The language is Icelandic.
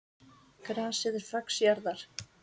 Grasið er fax jarðar.